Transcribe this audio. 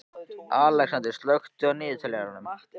Alexander, slökktu á niðurteljaranum.